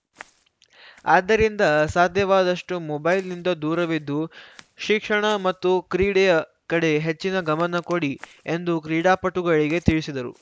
ಆದ್ದರಿಂದ ಸಾಧ್ಯವಾದಷ್ಟುಮೊಬೈಲ್‌ನಿಂದ ದೂರವಿದ್ದು ಶಿಕ್ಷಣ ಮತ್ತು ಕ್ರೀಡೆಯ ಕಡೆ ಹೆಚ್ಚಿನ ಗಮನ ಕೊಡಿ ಎಂದು ಕ್ರೀಡಾಪಟುಗಳಿಗೆ ತಿಳಿಸಿದರು